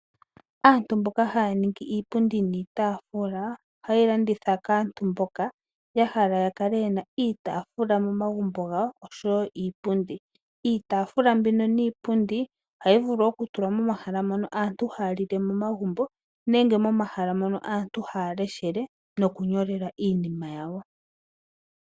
Aantu mboka haya ningi iipundi niitaafula ohaya yeyi landitha kaantu mboka ya hala ya kale ye na iitaafula momagumbo gawo oshowo iipundi. Iitaafula mbino niipundi ohayi vulu okutulwa momahala mono aantu haya lile momagumbo nenge momahala mono aantu haya leshele nokunyolela iinima yawo.